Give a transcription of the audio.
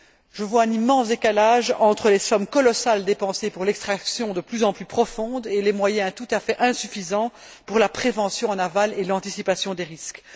Je constate un immense décalage entre les sommes colossales dépensées pour l'extraction de plus en plus profonde et les moyens tout à fait insuffisants consacrés à la prévention en aval et à l'anticipation des risques.